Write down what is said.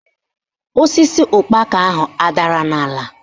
Osisi ụkpaka ahụ adara n'ala?